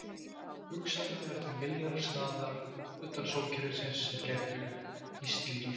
Hugsanlega eru til milljarðar staða utan sólkerfisins sem gætu hýst líf.